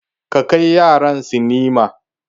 Ka kai yaran sinima.